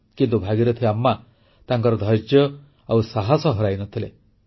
କିନ୍ତୁ ଭାଗୀରଥି ଆମ୍ମା ତାଙ୍କର ଧୈର୍ଯ୍ୟ ଓ ସାହସ ହରାଇନଥିଲେ